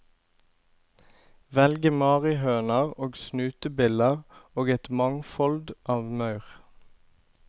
Velge marihøner og snutebiller og et mangfold av maur.